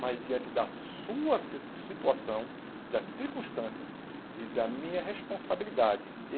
mas diante da sua sis situação, das circunstâncias e da minha responsabilidade.